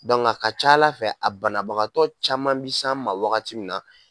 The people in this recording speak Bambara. a ka ca Ala fɛ a banabagatɔ caman bi s'an ma wagati min na